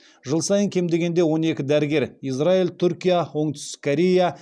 жыл сайын кем дегенде он екі дәрігер израиль түркия оңтүстік корея